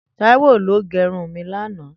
Taiwo ló gẹrún mi làná